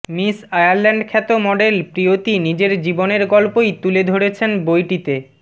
miss Ireland খ্যাত model Priyoti নিজের জীবনের গল্পই তুলে ধরেছেন বইটিতে